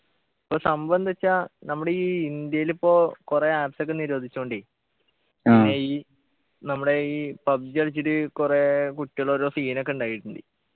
ഇപ്പൊ സംഭവന്ത് ച്ചാ നമ്മുടെ ഈ ഇന്ത്യയില് പ്പോ കൊറേ apps ഒക്കെ നിരോധിച്ചോണ്ടേ ഈ നമ്മുടെ ഈ PUBG കളിച്ചിട്ട് കൊറേ കുട്ടികളോരോ scene ഒക്കെ ഉണ്ടായിട്ട്ണ്ട്